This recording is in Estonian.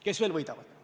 Kes veel võidavad?